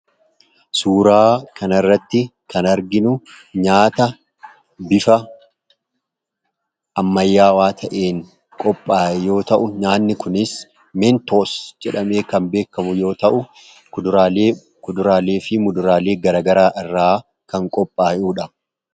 Suuraa kana irratti kan arginu nyaata bifa ammayyaawaa ta'een qophaa'e yoo ta'u, nyaanni kunis "Mentos" jedhamee kan beekamudha. Innis kuduraalee fi fuduraalee garaa garaa irraa kan qophaahudha.